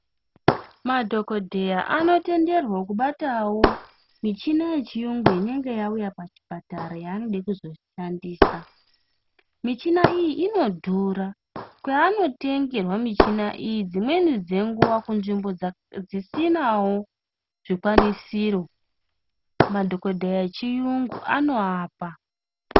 Madhokodheya ano tenderwa ku batawo michina ye chiyungu inenge ya uya pa chipatara ya anode kuzo shandisa michina iyi ino dhura kwe ano tengerwa michina iyi dzimweni dze nguva ku nzvimbo dzi sinawo zvikwanisiro madhokodheya echiyungu ano apa.